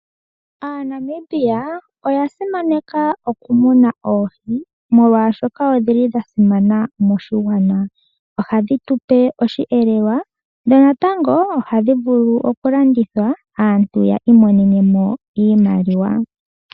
Aanamibia oya simaneka okumuna oohi omolwashoka odhi li dha simana moshigwana ohadhi tupe osheelelwa dho natango ohadhi vulu okulandithwa aantu ya imonenemo iimaliwa.